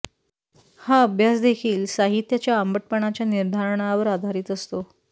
हा अभ्यास देखील साहित्याच्या आंबटपणाच्या निर्धारणावर आधारित असतो